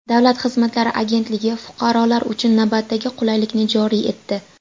Davlat xizmatlari agentligi fuqarolar uchun navbatdagi qulaylikni joriy etdi.